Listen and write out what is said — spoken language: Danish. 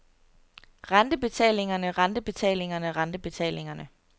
rentebetalingerne rentebetalingerne rentebetalingerne